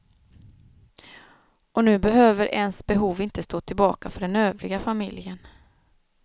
Och nu behöver ens behov inte stå tillbaka för den övriga familjen.